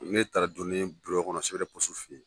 N taara don ne ye kɔnɔ fe yen